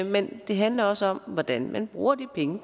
men det handler også om hvordan man bruger de penge